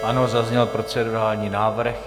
Ano, zazněl procedurální návrh.